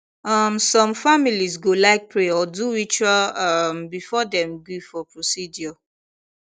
um some families go like pray or do ritual um before dem gree for procedure